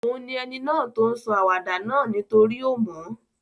Òun ni eni náà to n sọ àwàdà náà nítorí o mo